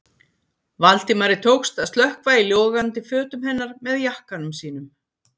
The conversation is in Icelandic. Valdimari tókst að slökkva í logandi fötum hennar með jakkanum sínum.